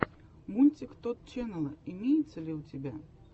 мультик тотт ченнала имеется ли у тебя